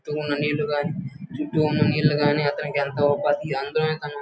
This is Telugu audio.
కింద ఉన్న నీళ్ల్లు గని చుట్టూ ఉన్న నీళ్లు గని ఆటన --